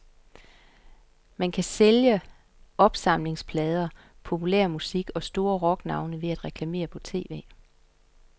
Man kan sælge opsamlingsplader, populærmusik og store rocknavne ved at reklamere på tv.